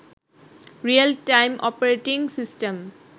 real time operating system